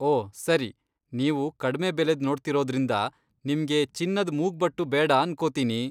ಓ ಸರಿ, ನೀವು ಕಡ್ಮೆ ಬೆಲೆದ್ ನೋಡ್ತಿರೋದ್ರಿಂದ ನಿಮ್ಗೆ ಚಿನ್ನದ್ ಮೂಗ್ಬಟ್ಟು ಬೇಡ ಅನ್ಕೋತೀನಿ.